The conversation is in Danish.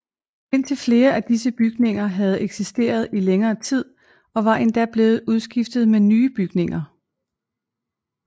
Indtil flere af disse bygninger havde eksisteret i længere tid og var endda blevet udskiftet med nye bygninger